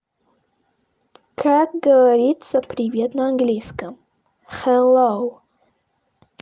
как говорится привет на английском хэллоу